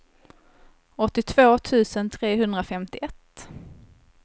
åttiotvå tusen trehundrafemtioett